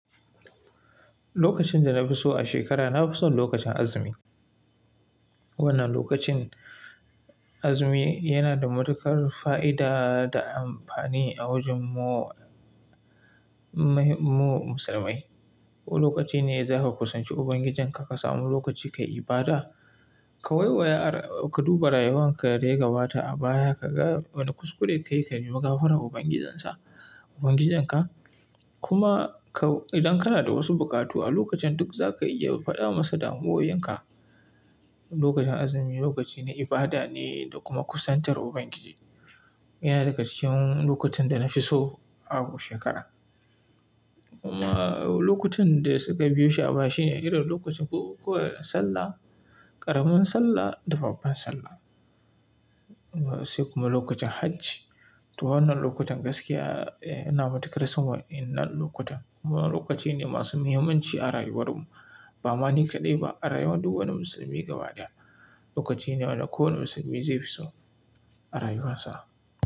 Lokacin da na fi so a shekara na fi so lokacin azumi. Wannan lokacin azumi yana da matuƙar fa'ida da amfani a wajen mu, mu musulmai. Wani lokaci ne zaka kusanci Ubangijinka ka samu lokaci ka ibada, ka waiwaya, ka duba rayuwanka da dai gabata a baya kaga wane kuskure kayi ka yi maganar Ubangijinsa, Ubangijinka. Kuma ka, idan kana da wasu buƙatu a lokacin duk zaka iya faɗa masa da mawayenka. Lokacin azumi lokaci ne ibada ne da kuma kusantar Ubangiji. Yana daga cikin lokutan da na fi so a shekara. Kuma lokutan da suka biyo shi a baya shine irin lokacin buku kuwansallah, ƙaramin sallah da babban sallah. Sai kuma lokacin hajji. To wannan lokutan gaskiya eh yana matuƙar son wannan lokutan. Wadannan lokaci ne masu muhimmanci a rayuwar mu. Ba ma ni kaɗai ba, a rayuwar duk wani musulmi gaba daya. Lokaci ne wanda kowane musulmi zai fi so a rayuwarsa.